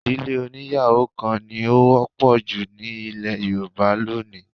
Ì̀dílé oníyàwó kan ni ó wọ́pọ̀ jù ní ilẹ̀ Yorùbá lónìí